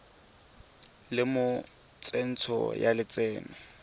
le mo tsentsho ya lotseno